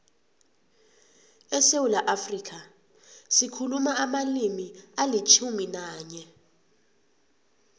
esewula afrika sikhuluma amalimi alitjhumi nanye